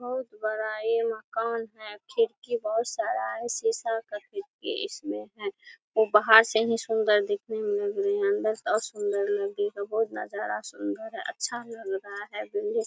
बहुत बड़ा ये मकान है खिड़की बहुत सारा है शीशा का खिड़की इसमें है ओ बाहर से ही सुंदर दिखने में ही लग रहा है अ सुंदर लगेगा बहुत नज़ारा सुंदर है अच्छा लग रहा है बिल्डिंग --